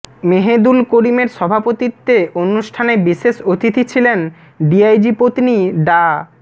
মেহেদুল করিমের সভাপতিত্বে অনুষ্ঠানে বিশেষ অতিথি ছিলেন ডিআইজি পত্নী ডা